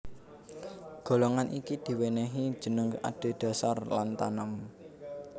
Golongan iki diwènèhi jeneng adhedhasar lantanum